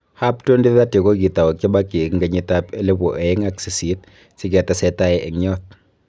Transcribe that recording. Hub 2030 ko kitou kibaki eng kenyitab elebu oeng ak sisit sikitesetai eng yot